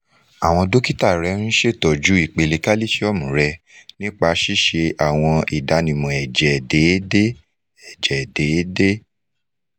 awọn dokita rẹ n ṣetọju ipele kalisiomu rẹ nipa ṣiṣe awọn idanwo ẹjẹ deede ẹjẹ deede